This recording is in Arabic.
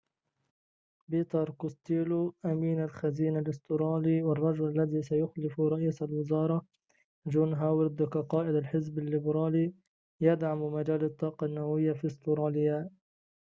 بيتر كوستيلو أمين الخزينة الأسترالي والرجل الذي سيخلُف رئيس الوزارة جون هاوارد كقائد الحزب الليبرالي يدعم مجال الطاقة النووية في أستراليا